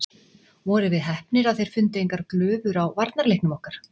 Vorum við heppnir að þeir fundu engar glufur á varnarleiknum okkar?